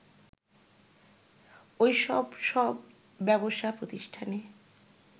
ওইসব সব ব্যবসা প্রতিষ্ঠানে